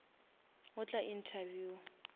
go tla interview